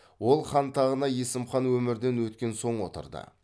ол хан тағына есім хан өмірден өткен соң отырды